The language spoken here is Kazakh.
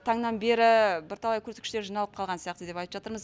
таңнан бері бірталай көрсеткіштер жиналып қалған сияқты деп айтып жатырмыз